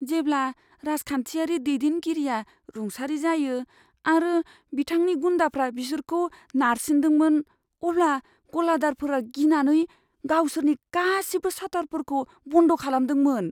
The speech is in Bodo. जेब्ला राजखान्थियारि दैदेनगिरिआ रुंसारि जायो आरो बिथांनि गुन्दाफ्रा बिसोरखौ नारसिनदोंमोन, अब्ला गलादारफोरा गिनानै गावसोरनि गासिबो शाटारफोरखौ बन्द खालामदोंमोन।